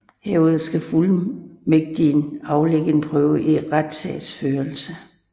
Herudover skal fuldmægtigen aflægge en prøve i retssagsførelse